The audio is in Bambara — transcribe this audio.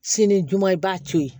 Sini juma i b'a to yen